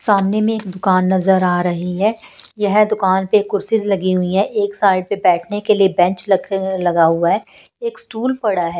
सामने में एक दुकान नजर आ रही है यह दुकान पे कुर्सीज लगी हुई है एक साइड पे बैठने के लिए बेंच लगा हुआ है एक स्टूल पड़ा है।